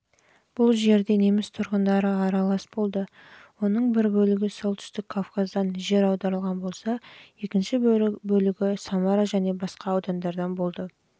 бұл жердегі неміс тұрғындары аралас болды оның бір бөлігі солтүстік кавказдан жер аударылған болса екінші бөлігі самара және